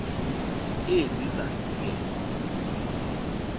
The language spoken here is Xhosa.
ezi zandi ke